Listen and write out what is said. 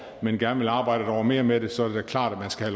men gerne vil arbejde et år mere med det så er det da klart at man skal